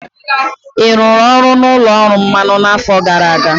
Ị rụrụ ọrụ n'ụlọ ọrụ mmanụ n'afọ gara aga?